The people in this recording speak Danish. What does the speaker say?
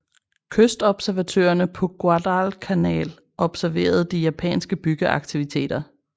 Kystobservatørerne på Guadalcanal observerede de japanske byggeaktiviteter